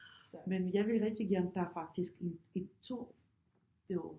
Men jeg vil rigtig gerne der er faktisk et et tog derover